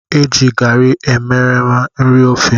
Eji garri emereme eri ofe